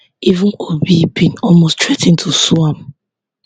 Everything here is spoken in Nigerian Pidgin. even obi bin almost threa ten to sue am